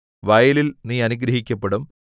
വയലിൽ നീ അനുഗ്രഹിക്കപ്പെടും